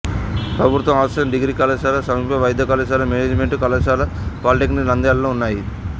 ప్రభుత్వ arts science degree కళాశాల సమీప వైద్య కళాశాల మేనేజిమెంటు కళాశాల పాలీటెక్నిక్ నంద్యాలలో ఉన్నాయి